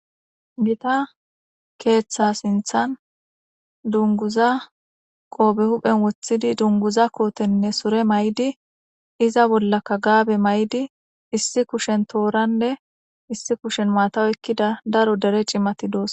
Gita keeththa sinthan dunguza qoobe huphen woththidi dunguza kootenne sure may7di iza bollaka gaabe may7di issi kushen tooranne issi kushen maataw ekkida daro dere cimati doos.